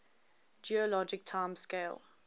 geologic time scale